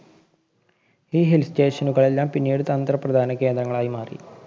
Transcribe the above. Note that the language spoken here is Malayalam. ഈ hill station നുകളെല്ലാം പിന്നീട് തന്ത്ര പ്രധാന കേന്ദ്രങ്ങളായി മാറി.